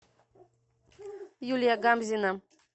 юлия гамзина